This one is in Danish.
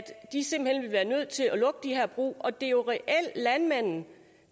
lukke de her brug og det er jo reelt landmanden